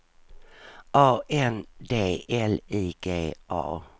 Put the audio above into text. A N D L I G A